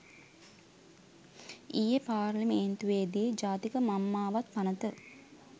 ඊයේ පාර්ලිමේන්තුවේදී ජාතික මංමාවත් පනත